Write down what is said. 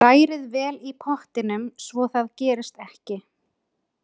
Hrærið vel í pottinum svo það gerist ekki.